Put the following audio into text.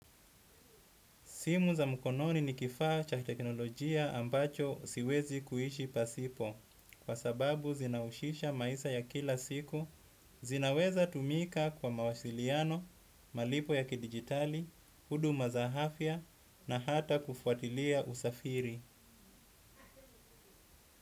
Simu za mkononi ni kifaa cha teknolojia ambacho siwezi kuishi pasipo, kwa sababu zinahushisha maisha ya kila siku, zinaweza tumika kwa mawasiliano, malipo ya kidigitali, huduma za afya na hata kufuatilia usafiri.